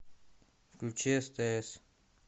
включи стс